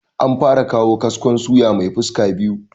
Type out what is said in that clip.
An fara kawo kaskon suya mai fuska biyu